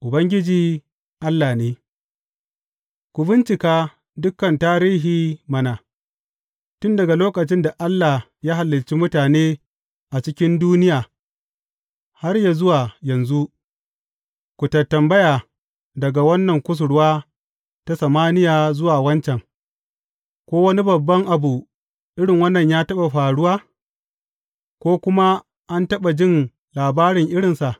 Ubangiji Allah ne Ku bincika dukan tarihi mana, tun daga lokacin da Allah ya halicci mutane a cikin duniya har yă zuwa yanzu; ku tantambaya daga wannan kusurwa ta samaniya zuwa waccan, ko wani babban abu irin wannan ya taɓa faruwa, ko kuma an taɓa jin labarin irinsa?